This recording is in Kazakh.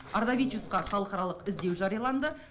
ардавичусқа халықаралық іздеу жарияланды